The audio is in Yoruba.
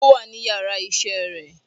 o wa ní ìyára iṣẹ re